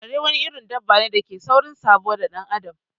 Kare wani irin dabane dake da saurin sabo da dan adam